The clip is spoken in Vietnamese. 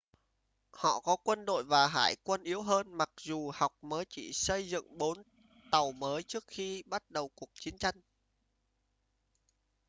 họ có quân đội và hải quân yếu hơn mặc dù học mới chỉ xây dựng bốn tàu mới trước khi bắt đầu cuộc chiến tranh